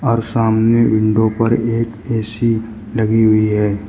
और सामने विंडो पर एक ए_सी लगी हुई है।